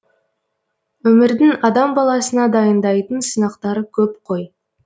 өмірдің адам баласына дайындайтын сынақтары көп қой